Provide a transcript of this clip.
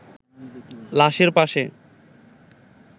লাশের পাশে